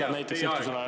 Hea küsija, teie aeg!